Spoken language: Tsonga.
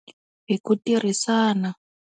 Hi ku tirhisana.